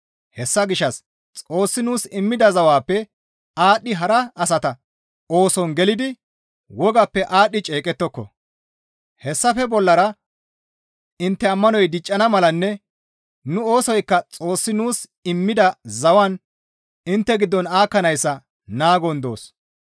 Hessa gishshas Xoossi nuus immida zawappe aadhdhidi hara asata ooson gelidi wogappe aadhdhi ceeqettoko; hessafe bollara intte ammanoy diccana malanne nu oosoykka Xoossi nuus immida zawan intte giddon aakkanayssa naagon doos.